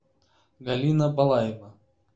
галина балаева